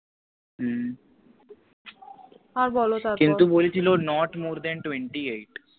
হম আর বলো তারপর কিন্তু বলছিল Not More ThenTwentyeight